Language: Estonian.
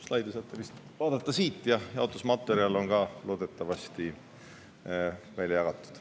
Slaide saate vaadata siit ja ka jaotusmaterjal on loodetavasti teile välja jagatud.